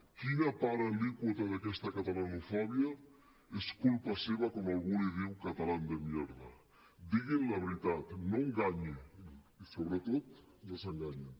quina part alíquota d’aquesta catalanofòbia és culpa seva quan algú li diu catalán de mierda diguin la veritat no enganyi i sobretot no s’enganyin